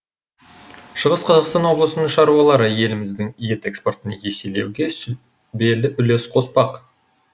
шығыс қазақстан облысының шаруалары еліміздің ет экспортын еселеуге сүбелі үлес қоспақ